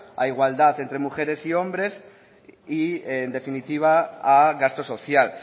a igualdad entre mujeres y hombres y en definitiva a gasto social